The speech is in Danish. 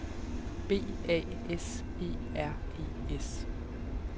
B A S E R E S